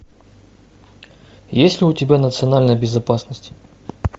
есть ли у тебя национальная безопасность